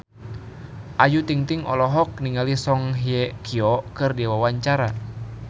Ayu Ting-ting olohok ningali Song Hye Kyo keur diwawancara